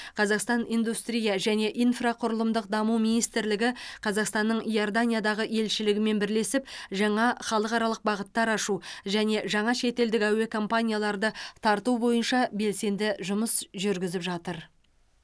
қазақстан индустрия және инфрақұрылымдық даму министрлігі қазақстанның иорданиядағы елшілігімен бірлесіп жаңа халықаралық бағыттар ашу және жаңа шетелдік әуе компанияларды тарту бойынша белсенді жұмыс жүргізіп жатыр